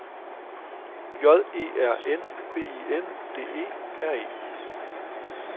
J E R N B I N D E R E